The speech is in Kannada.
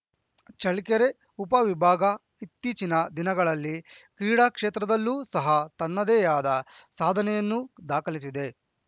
ಚಳ್ಳಕೆರೆ ಉಪವಿಭಾಗ ಇತ್ತೀಚಿನ ದಿನಗಳಲ್ಲಿ ಕ್ರೀಡಾಕ್ಷೇತ್ರದಲ್ಲೂ ಸಹ ತನ್ನದೇಯಾದ ಸಾಧನೆಯನ್ನು ದಾಖಲಿಸಿದೆ